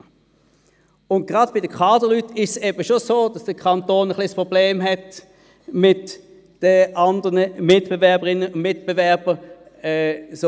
Gerade bei den Kaderleuten ist es schon so, dass der Kanton ein wenig ein Problem mit anderen Mitbewerberinnen und Mitbewerbern hat.